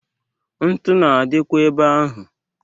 Ntu na-adịkwa ebe ahụ.